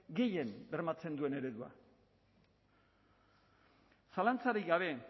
gehien bermatzen duen eredua zalantzarik gabe